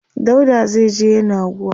dauda zaije yenagoa